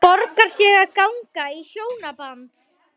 Borgar sig að ganga í hjónaband?